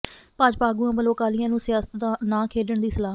ਭਾਜਪਾ ਆਗੂਆਂ ਵੱਲੋਂ ਅਕਾਲੀਆਂ ਨੂੰ ਸਿਆਸਤ ਨਾ ਖੇਡਣ ਦੀ ਸਲਾਹ